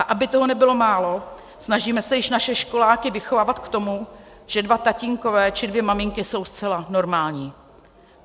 A aby toho nebylo málo, snažíme se již naše školáky vychovávat k tomu, že dva tatínkové či dvě maminky jsou zcela normální.